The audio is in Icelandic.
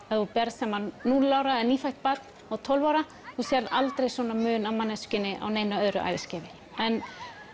ef þú berð sama núll ára eða nýfætt barn og tólf ára þú sérð aldrei svona mun á manneskjunni á neinu öðru æviskeiði en